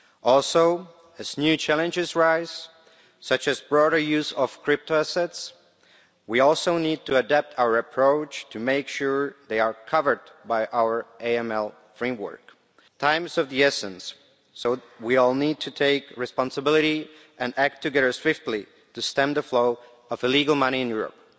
Also, as new challenges arise, such as broader use of crypto assets, we need to adapt our approach to make sure these are covered by our AML framework. Time is of the essence, so we all need to take responsibility and act together swiftly to stem the flow of illegal money in Europe.